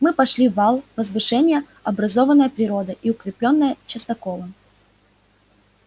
мы пошли на вал возвышение образованное природой и укреплённое частоколом